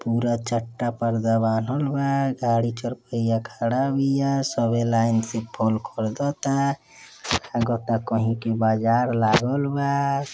पूरा चट्टा पर्दा लागल बा। गाड़ी चारपहिया खड़ा बिया। सभी लाइन से फल खरीदता। लागता कही के बाजार लागल बा।